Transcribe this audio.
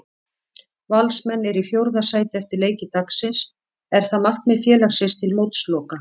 Valsmenn eru í fjórða sæti eftir leiki dagsins, er það markmið félagsins til mótsloka?